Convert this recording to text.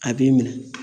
A b'i minɛ